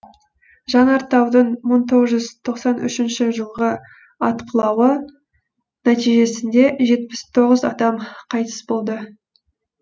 жанартаудың мың тоғыз жүз тоқсан үшінші жылғы атқылауы нәтижесінде жетпіс тоғыз адам қайтыс болды